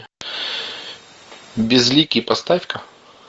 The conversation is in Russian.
безликий поставь ка